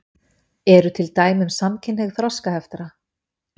Eru til dæmi um samkynhneigð þroskaheftra?